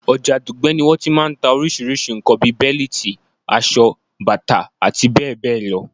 Ọjà Dùgbẹ̀ ni wọ́n ti máa ń ta orísìí nǹkan bi bẹ́líìtì, aṣọ, bàtà, abbl.